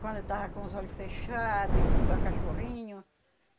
Quando eu tava com os olho fechado, i igual cachorrinho.